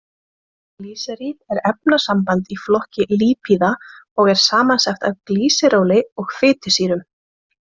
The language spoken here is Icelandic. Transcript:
Glýseríð er efnasamband í flokki lípíða og er samsett úr glýseróli og fitusýrum.